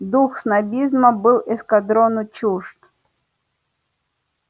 дух снобизма был эскадрону чужд